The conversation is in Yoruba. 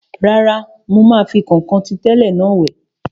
Rárá, mo máa fi kọ̀nkọ̀n ti tẹ́lẹ̀ náà wẹ̀